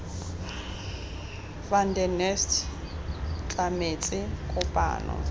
van der nest tlametse kopano